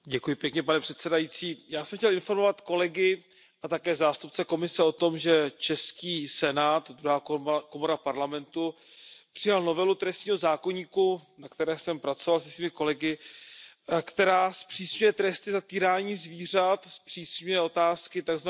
Pane předsedo, já jsem chtěl informovat kolegy a také zástupce Komise o tom, že český Senát, druhá komora Parlamentu, přijal novelu trestního zákoníku, na které jsem pracoval se svými kolegy, která zpřísňuje tresty za týrání zvířat, zpřísňuje otázky tzv.